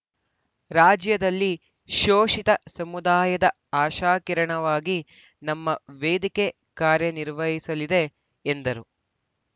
ರಾಜ್ಯದಲ್ಲಿ ಶೋಷಿತ ಸಮುದಾಯದ ಆಶಾಕಿರಣವಾಗಿ ನಮ್ಮ ವೇದಿಕೆ ಕಾರ್ಯನಿರ್ವಹಿಸಲಿದೆ ಎಂದರು